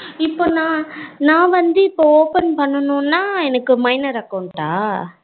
இப்போ நா நா வந்து இபோ open பண்ணனும்னா எனக்கு minor account டா